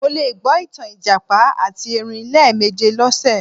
Mo le gbọ ìtàn ìjàpá àti erin lẹ́ẹ̀méje lọ́sẹ̀